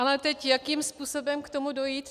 Ale teď jakým způsobem k tomu dojít.